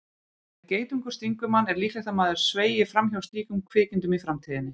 Ef geitungur stingur mann er líklegt að maður sveigi fram hjá slíkum kvikindum í framtíðinni.